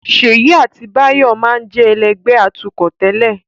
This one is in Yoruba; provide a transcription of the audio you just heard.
Ṣèyí àti Báyọ̀ máa ń jẹ́ ẹlẹ́gbẹ̀ẹ́ atukọ̀ tẹ́lẹ̀